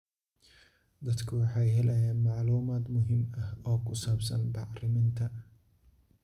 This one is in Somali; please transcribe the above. Dadku waxay helayaan macluumaad muhiim ah oo ku saabsan bacriminta.